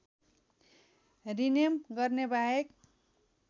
rename गर्नेबाहेक